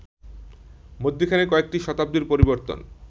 মধ্যিখানে কয়েকটি শতাব্দীর পরিবর্তন